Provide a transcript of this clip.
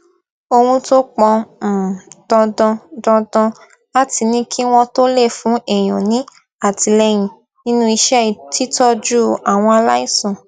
ohun tó pọn um dandan dandan láti ní kí wọn tó lè fún èèyàn ní àtìlẹyìn nínú iṣẹ títójú àwọn aláìsàn